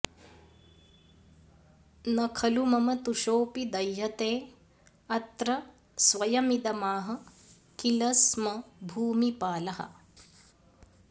न खलु मम तुषोऽपि दह्यतेऽत्र स्वयमिदमाह किल स्म भूमिपालः